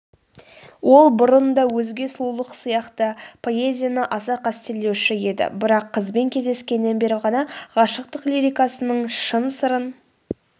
ол бұрын да өзге сұлулық сияқты поэзияы аса қастерлеуші еді бірақ қызбен кездескеннен бері ғана ғашықтық лирикасының шын сырын